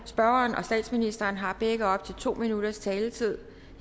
spørgeren og statsministeren har begge op til to minutters taletid